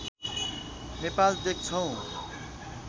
नेपाल देख्छौ